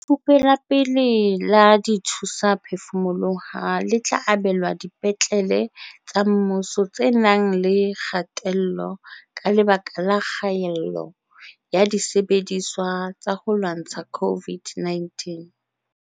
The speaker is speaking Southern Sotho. Lefupe la pele la dithusaphefumoloho le tla abelwa dipetlele tsa mmuso tse nang le kgatello ka lebaka la kgaello ya disebediswa tsa ho lwantsha COVID-19.